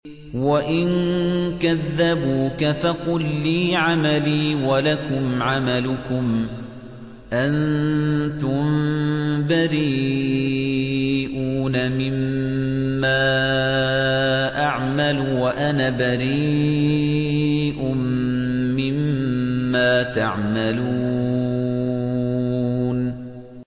وَإِن كَذَّبُوكَ فَقُل لِّي عَمَلِي وَلَكُمْ عَمَلُكُمْ ۖ أَنتُم بَرِيئُونَ مِمَّا أَعْمَلُ وَأَنَا بَرِيءٌ مِّمَّا تَعْمَلُونَ